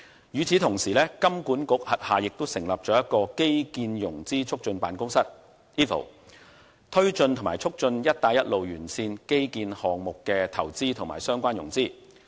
與此同時，金管局轄下成立了一個基建融資促進辦公室，推動和促進"一帶一路"沿線基建項目的投資和相關融資。